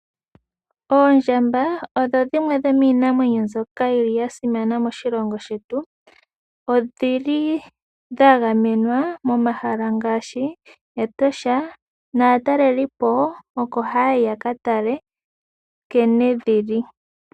Oondjamba odho dhimwe dhomiinamwenyo mbyoka yi li ya simana moshilongo shetu. Odha gamenwa momahala ngaashi Etosha naatalelipo oko haya yi ya katale nkene dhi li.